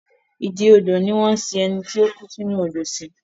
Ìdí odò ni wọ́n ń sin ẹni tí ó kú sí inú Odò sí